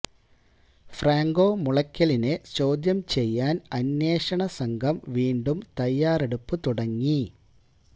Franco മുളയ്ക്കലിനെ ചോദ്യം ചെയ്യാൻ അന്വേഷണ സംഘം വീണ്ടും തയ്യാറെടുപ്പു തുടങ്ങി